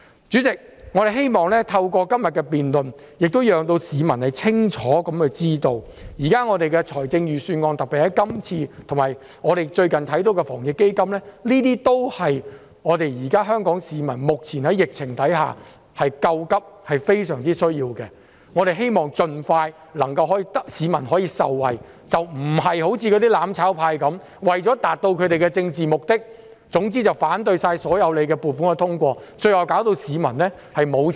主席，我們希望透過今天的辯論讓市民清楚知道，現時的預算案，特別是這份預算案和最近的防疫抗疫基金，均是為現時在疫情下的香港市民救急、是非常需要的，我們希望能盡快讓市民受惠，而非像"攬炒派"般，為求達到政治目的，一概反對通過所有撥款，最後令市民拿不到錢。